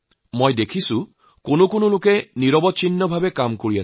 মই লক্ষ্য কৰিছোঁ যে একাংশ লোকে একেৰাহে কাম কৰি আহিছে